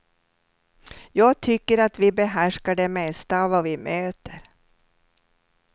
Jag tycker att vi behärskar det mesta av vad vi möter.